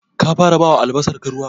Ka fara bawa albasarka ruwa?